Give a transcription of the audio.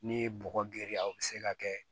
N'i ye bɔgɔ girinya o bi se ka kɛ